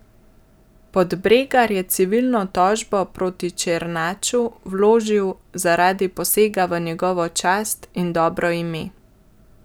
Podbregar je civilno tožbo proti Černaču vložil zaradi posega v njegovo čast in dobro ime.